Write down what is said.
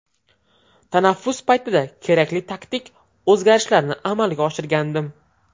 Tanaffus paytida kerakli taktik o‘zgarishlarni amalga oshirgandim.